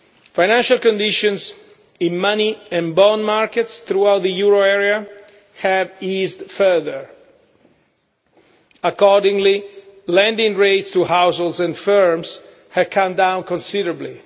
Financial conditions in money and bond markets throughout the euro area have eased further. Accordingly, lending rates to households and firms have come down considerably.